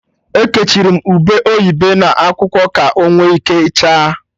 Ekechiri m ube oyibo n'akwụkwọ, ka onwe ike chaa